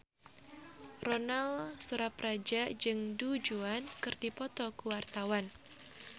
Ronal Surapradja jeung Du Juan keur dipoto ku wartawan